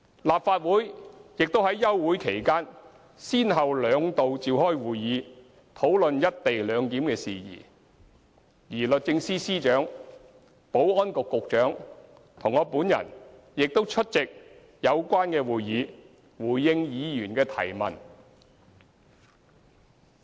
立法會也於休會期間先後兩度召開會議討論"一地兩檢"事宜，而律政司司長、保安局局長及我本人亦出席有關會議，回應議員的提問。